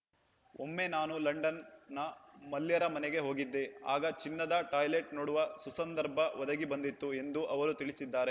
ಒಮ್ಮೆ ನಾನು ಲಂಡನ್‌ನ ಮಲ್ಯರ ಮನೆಗೆ ಹೋಗಿದ್ದೆ ಆಗ ಚಿನ್ನದ ಟಾಯ್ಲೆಟ್‌ ನೋಡುವ ಸುಸಂದರ್ಭ ಒದಗಿ ಬಂದಿತ್ತು ಎಂದು ಅವರು ತಿಳಿಸಿದ್ದಾರೆ